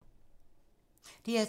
DR2